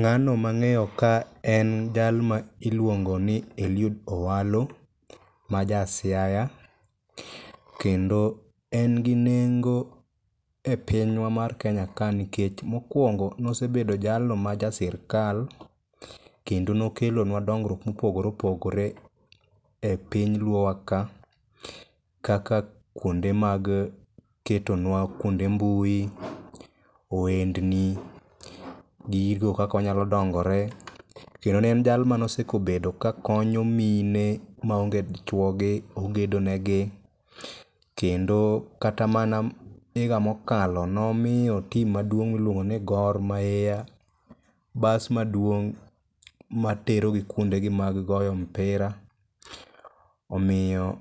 Ng'ano mang'eyo ka en jal ma iluongo ni Eliud Owalo ma ja siaya kendo en gi nengo e pinywa mar Kenya ka nikech mokwongo nosebedo jalno ma ja sirkal kendo nokelonwa dongruok mopogore opogore e piny luo wa ka, kaka kuonde mag ketonwa kuonde mbui, ohendni, gigo kaka wanyalo dongre, kendo ne en jal manosekobedo ka konyo mine maonge chuogi ogedonegi kendo kata mana higa mokalo nomiyo tim maduong' miluongo ni Gor mahia bas maduong' materogi kuondegi mag goyo mpira, omiyo